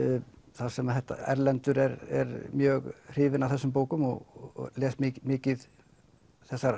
þar sem Erlendur er mjög hrifinn af þessum bókum og les mikið þessar